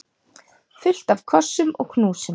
Fullt af kossum og knúsum.